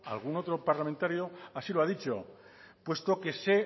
algún otro parlamentario así lo ha dicho puesto que no se